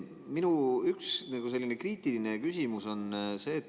Minu üks kriitiline küsimus on see.